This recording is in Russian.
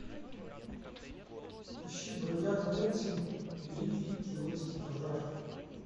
ищи бродяга кэнсин великий киотский пожар